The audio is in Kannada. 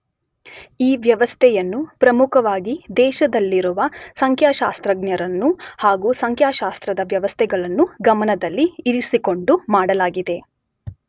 ಈ ವ್ಯವಸ್ಥೆಯನ್ನು ಪ್ರಮುಖವಾಗಿ ದೇಶದಲ್ಲಿರುವ ಸಂಖ್ಯಾಶಾಸ್ತ್ರಜ್ಞರನ್ನು ಹಾಗೂ ಸಂಖ್ಯಾಶಾಸ್ತ್ರದ ವ್ಯವಸ್ಥೆಗಳನ್ನು ಗಮನದಲ್ಲಿ ಇರಿಸಿಕೊಂಡು ಮಾಡಲಾಗಿದೆ.